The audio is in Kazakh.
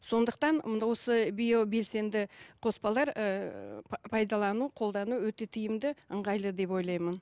сондықтан осы био белсенді қоспалар ііі пайдалану қолдану өте тиімді ыңғайлы деп ойлаймын